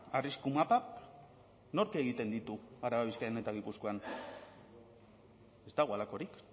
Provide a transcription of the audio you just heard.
arrisku mapa nork egiten ditu araba bizkaian eta gipuzkoan ez dago halakorik